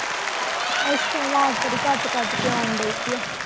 ਅੱਛਾ ਆਵਾਜ਼ ਬੜੀ ਕੱਟ-ਕੱਟ ਕੇ ਆਉਣ ਦਈ ਏ।